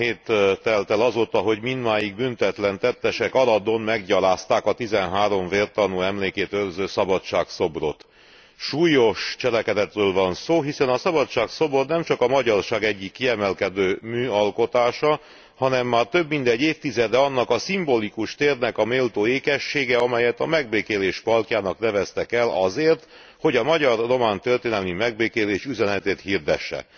Három hét telt el azóta, hogy mindmáig büntetlen tettesek Aradon meggyalázták a tizenhárom vértanú emlékét őrző Szabadság szobrot. Súlyos cselekedetről van szó, hiszen a Szabadság szobor nemcsak a magyarság egyik kiemelkedő műalkotása, hanem már több mint egy évtizede annak a szimbolikus térnek a méltó ékessége, amelyet a Megbékélés Parkjának neveztek el azért, hogy a magyar román történelmi megbékélés üzenetét hirdesse.